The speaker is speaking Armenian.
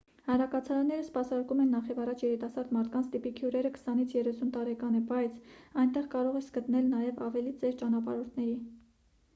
հանրակացարանները սպասարկում են նախևառաջ երիտասարդ մարդկանց տիպիկ հյուրը քսանից երեսուն տարեկան է բայց այնտեղ կարող ես գտնել նաև ավելի ծեր ճանապարհորդների